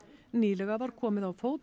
nýlega var komið á fót